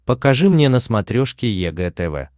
покажи мне на смотрешке егэ тв